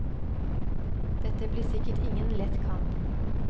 Dette blir sikkert ingen lett kamp.